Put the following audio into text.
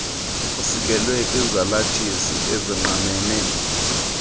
isikelwe kwizalathisi ezingqamene